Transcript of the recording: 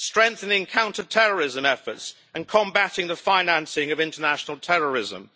strengthening counterterrorism efforts and combating the financing of international terrorism